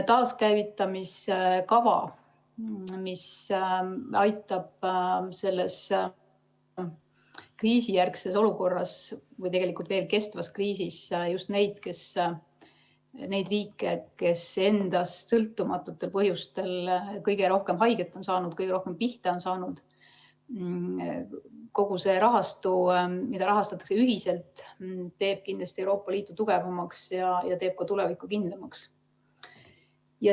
Taaskäivitamise kava, mis aitab kriisijärgses olukorras või tegelikult veel kestvas kriisis just neid riike, kes endast sõltumatutel põhjustel kõige rohkem haiget on saanud, kõige rohkem pihta on saanud, ja kogu see rahastu, mida rahastatakse ühiselt, teeb kindlasti Euroopa Liitu tugevamaks ja teeb ka tuleviku kindlamaks.